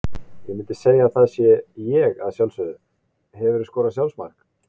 Ég myndi segja að það sé ég að sjálfsögðu Hefurðu skorað sjálfsmark?